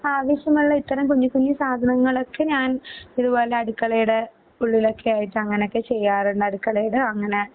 ആവിശ്യമുള്ള ഇത്തരം കുഞ്ഞുകുഞ്ഞു സാധനങ്ങളൊക്കെ ഞാൻ ഇതുപോലെ അടുക്കളയുടെ ഉള്ളിലൊക്കെയായിട്ട് അങ്ങനെ ചെയ്യാറുണ്ട്. അടുക്കളയുടെ അങ്ങനെ